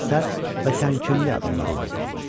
Zahirən sərt və təmkinli adamlar idi.